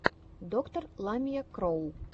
доктор ламия кроу